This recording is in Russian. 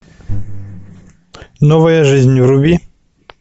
новая жизнь вруби